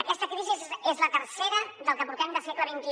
aquesta crisi és la tercera del que portem de segle xxi